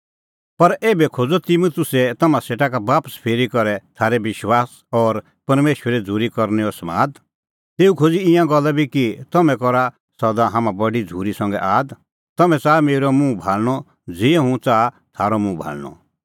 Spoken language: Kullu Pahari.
पर एभै खोज़अ तिमुतुसै तम्हां सेटा का बापस फिरी करै थारै विश्वास और परमेशरे झ़ूरी करनैओ समाद तेऊ खोज़ी ईंयां गल्ला बी कि तम्हैं करा सदा हाम्हां बडी झ़ूरी संघै आद तम्हैं च़ाहा मेरअ मुंह भाल़णअ ज़िहअ हुंह च़ाहा थारअ मुंह भाल़णअ